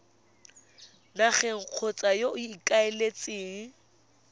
nageng kgotsa yo o ikaeletseng